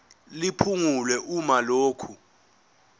liphungulwe uma lokhu